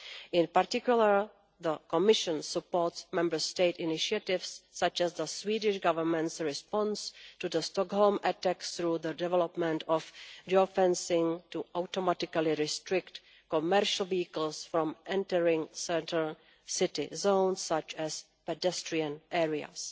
In particular, the Commission supports Member State initiatives, such as the Swedish Government's response to the Stockholm attacks through the development of geo fencing to automatically restrict commercial vehicles from entering centre city zones such as pedestrian areas.